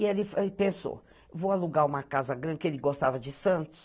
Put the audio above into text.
E ele pensou, vou alugar uma casa grande, que ele gostava de Santos.